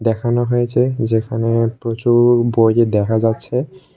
দেখানো হয়েছে যেখানে প্রচুর বই দেখা যাচ্ছে।